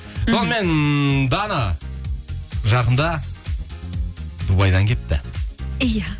сонымен дана жақында дубайдан келіпті иә